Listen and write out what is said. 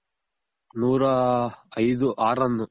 ನೂರಾ ಐದು ಆರ್ run.